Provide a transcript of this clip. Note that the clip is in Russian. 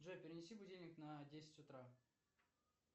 джой перенеси будильник на десять утра